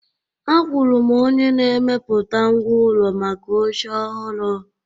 Akwụụrụ m onye na-emepụta ngwá ụlọ maka oche ọhụrụ